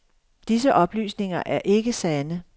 Disse oplysninger er ikke sande.